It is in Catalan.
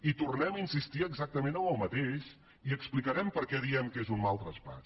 i tornem a insistir exactament en el mateix i explicarem per què diem que és un mal traspàs